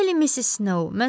Bəli, Missis Snow.